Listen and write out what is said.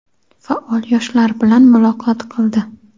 faol yoshlar bilan muloqot qildi.